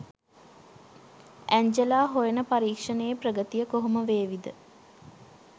Angela හොයන පරීක්ෂණයේ ප්‍රගතිය කොහොම වේවි ද?